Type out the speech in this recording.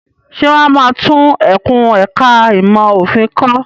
Ṣé wọ́n máa tún ẹkùn ẹ̀ka ẹ̀kó ìmọ̀ òfin kọ́?